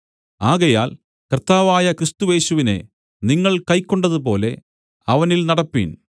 ആകയാൽ കർത്താവായ ക്രിസ്തുയേശുവിനെ നിങ്ങൾ കൈക്കൊണ്ടതുപോലെ അവനിൽ നടപ്പിൻ